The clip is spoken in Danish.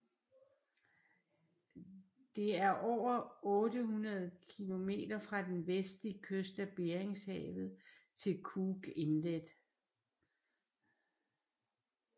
Det er over 800 km fra den vestlige kyst af Beringshavet til Cook Inlet